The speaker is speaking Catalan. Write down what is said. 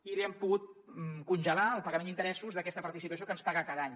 i hem pogut congelar el pagament d’interessos d’aquesta participació que ens paga cada any